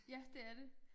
Ja det er det